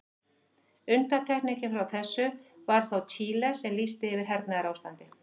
Undantekningin frá þessu var þó Chile sem lýsti yfir hernaðarástandi.